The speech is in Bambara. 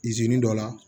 Izini dɔ la